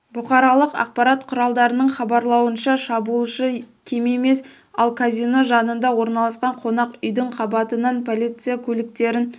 бұқаралық ақпарат құралдарының хабарлауынша шабуылшы кем емес ол казино жанында орналасқан қонақ үйдің қабатынан полиция көліктерін